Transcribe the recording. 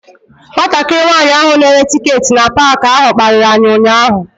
Nwatakịrị nwanyị ahụ na-ere tiketi na paalị ahụ kparịrị anyị ụnyaahụ.